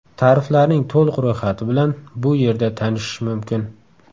Tariflarning to‘liq ro‘yxati bilan bu yerda tanishish mumkin.